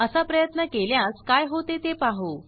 असा प्रयत्न केल्यास काय होते ते पाहू